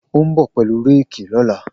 O n bọ pelu réèkì lọla.